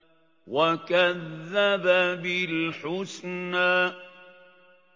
وَكَذَّبَ بِالْحُسْنَىٰ